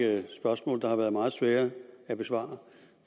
række spørgsmål der har været meget svære at besvare